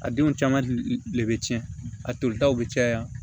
A denw caman le bɛ tiɲɛ a tolitaw bɛ caya